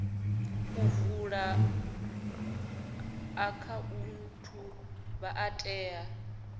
u vula akhaunthu vha tea